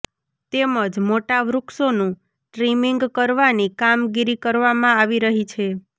તેમજ મોટા વૃક્ષોનું ટ્રીમીંગ કરવાની કામગીરી કરવામાં આવી રહી છે